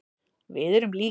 Við erum lík.